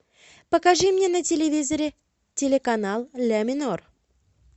покажи мне на телевизоре телеканал ля минор